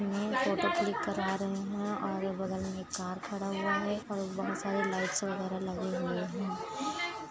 -- मे photo click करा रहे है और बगल में एक कार खड़ा हुआ है बहुत सारा लाइट्स वगेरा लगे हुए है।